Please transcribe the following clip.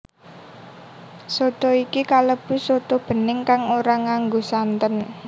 Soto iki kalebu soto bening kang ora nganggo santen